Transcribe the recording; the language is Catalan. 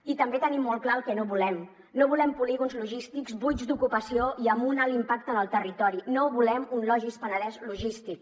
i també tenim molt clar el que no volem no volem polígons logístics buits d’ocupació i amb un alt impacte en el territori no volem un logis penedès logístic